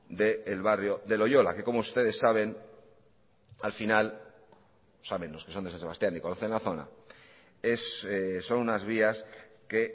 del barrio de loiola que como ustedes saben los que son de san sebastián y conocen la zona son unas vías que